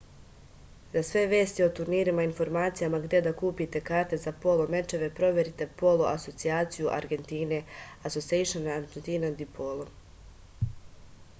за све вести о турнирима и информацијама где да купите карте за поло мечеве проверите поло асоцијацију аргентине asociacion argentina de polo